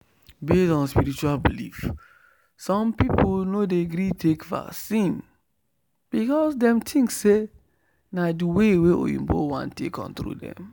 based on spiritual belief some people no dey gree take vaccine because dem think say na the way wa oyinbo wan take control dem